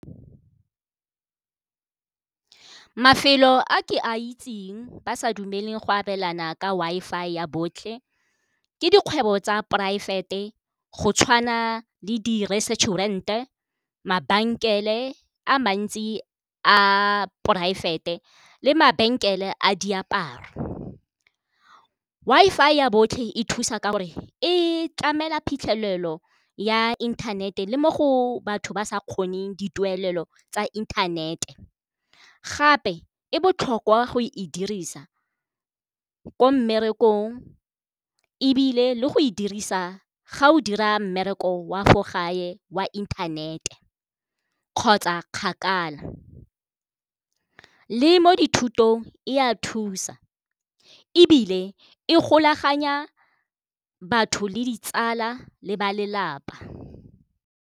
Mafelo a ke a itseng ba sa dumeleng go abelana ka Wi-Fi ya botlhe ke dikgwebo tsa poraefete go tshwana le di-resturant-e, mabenkele a mantsi a poraefete le mabenkele a diaparo. Wi-Fi ya botlhe e thusa ka gore e tlamela phitlhelelo ya inthanete le mo go batho ba sa kgoneng dituelo tsa internet-e, gape e botlhokwa go e dirisa ko mmerekong ebile le go e dirisa ga o dira mmereko wa for gae wa inthanete kgotsa kgakala. Le mo dithutong e a thusa ebile e golaganya batho le ditsala le ba lelapa.